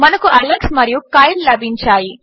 మనకు అలెక్స్ మరియు కైల్ లభించాయి